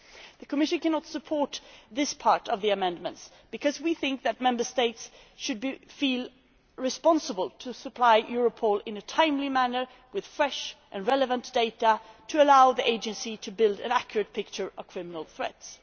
The Commission cannot support this part of the amendments because we think that Member States should feel responsible for supplying Europol in a timely manner with fresh, relevant data to allow the Agency to build an accurate picture of criminal threats.